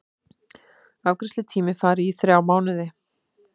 Afgreiðslutími fari í þrjá mánuði